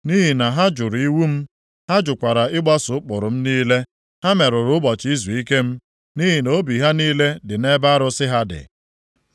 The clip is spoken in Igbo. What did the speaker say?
Nʼihi na ha jụrụ iwu m, ha jụkwara ịgbaso ụkpụrụ m niile. Ha merụrụ ụbọchị izuike m, nʼihi na obi ha niile dị nʼebe arụsị ha dị.